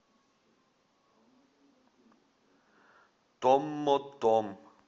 томмотом